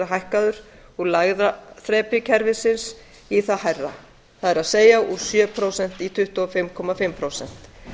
hækkaður úr lægra þrepi kerfisins í það hærra það er úr sjö prósent í tuttugu og fimm og hálft prósent